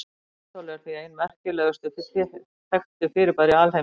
Svarthol eru því ein merkilegustu þekktu fyrirbæri alheimsins.